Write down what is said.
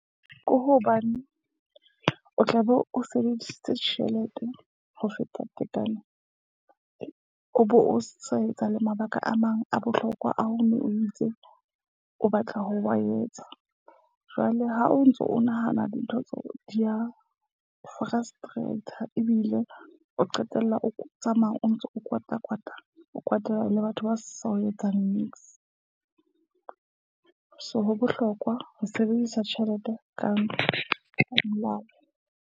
Ke hobane o tlabe o sebedisitse tjhelete ho feta tekano. O bo o sa etsa le mabaka a mang a bohlokwa a ho no o itse o batla ho wa etsa. Jwale ha o ntso o nahana dintho tseo di ya frustrate ebile o qetella o tsamaya, o ntso o kwata kwata. O kwatela le batho ba sa o etsang nix. So ho bohlokwa ho sebedisa tjhelete ka molao .